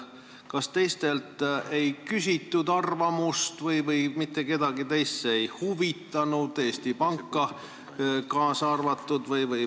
Kas teistelt ei küsitud arvamust või kedagi teist see teema ei huvitanud, Eesti Pank kaasa arvatud?